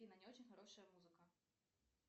афина не очень хорошая музыка